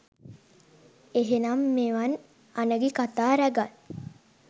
එහෙමනම් මෙවන් අනගි කතා රැගත්